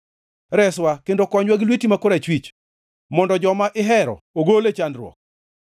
Reswa kendo konywa gi lweti ma korachwich, mondo joma ihero ogol e chandruok.